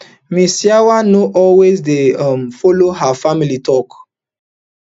ms yawa no also dey um follow her family tok